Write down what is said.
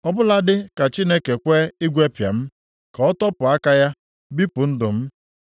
Ọbụladị ka Chineke kwe igwepịa m ka ọ tọpụ aka ya, bipụ ndụ m.